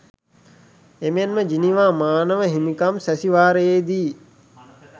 එමෙන්ම ජිනීවා මානව හිමිකම් සැසිවාරයේ දී